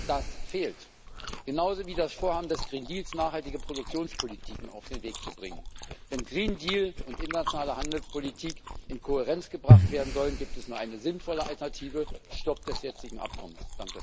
Das fehlt. Genauso wie das Vorhaben des Green Deals nachhaltige Produktionspolitiken auf den Weg zu bringen. Wenn Green Deal und internationale Handelspolitik in Kohärenz gebracht werden sollen, gibt es nur eine sinnvolle Alternative Stopp des jetzigen Abkommens!